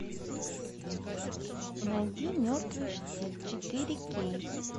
найди мертвый штиль четыре кей